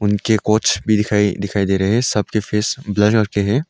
इनके कोच भी दिखाई दिखाई दे रहे है सबके फेस ब्लर किए हैं।